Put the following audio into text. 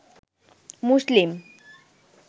মুসলিম